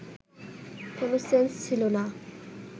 কোনো সেন্স ছিল না